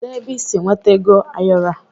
Kedụ ebe ị sị nweta ego ayoro a?